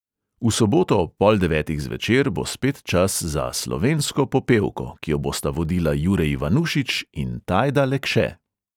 V soboto ob pol devetih zvečer bo spet čas za slovensko popevko, ki jo bosta vodila jure ivanušič in tajda lekše.